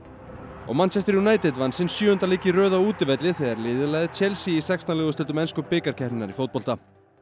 og Manchester United vann sinn sjöunda leik í röð á útivelli þegar liðið lagði Chelsea í sextán liða úrslitum ensku bikarkeppninnar í fótbolta